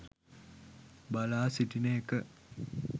බලා සිටින එක